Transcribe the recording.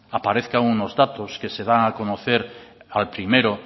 aparezca unos datos que se da a conocer al primero